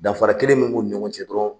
Danfara kelen mun b'u ni ɲɔgɔn cɛ dɔrɔn